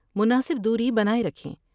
مناسب دوری بناۓ رکھیں ۔